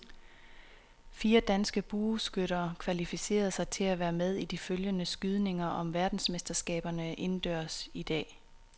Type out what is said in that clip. Fire danske bueskytter kvalificerede sig til at være med i de afgørende skydninger om verdensmesterskaberne indendørs i dag.